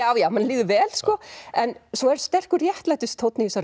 já manni líður vel sko en svo er sterkur réttlætistónn í þessari